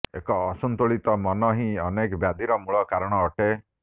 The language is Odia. ଏକ ଅସନ୍ତୁଳିତ ମନହିଁ ଅନେକ ବ୍ୟାଧିର ମୂଳ କାରଣ ଅଟେ